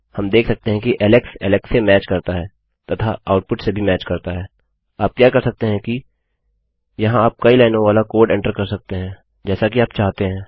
हम देख सकते हैं कि एलेक्स एलेक्स से मैच करता है तथा आउटपुट से भी मैच करता है आप क्या कर सकते हैं क्या यहाँ आप कई लाइनों वाली कोड एंटर कर सकते हैं जैसा कि आप चाहते हैं